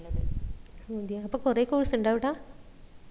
ഓ അതെയ അപ്പൊ കൊറേ course ഉണ്ടോ അവിട